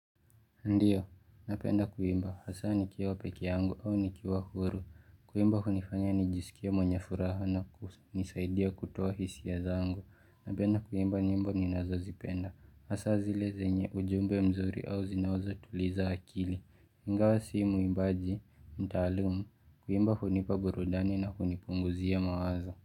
Ndiyo, napenda kuimba, hasaa nikiwa pekee yangu au nikiwa huru. Kuimba hunifanya nijisikie mwenye furaha na hunisaidia kutoa hisia zangu. Napenda kuimba nyimba ninazozipenda. Hasaa zile zenye ujumbe mzuri au zinazotuliza akili. Ingawa si muimbaji, mtaalumu, kuimba hunipa burudani na kunipunguzia mawazo.